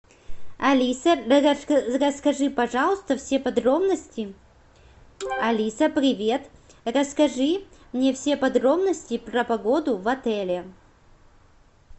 алиса расскажи пожалуйста все подробности алиса привет расскажи мне все подробности про погоду в отеле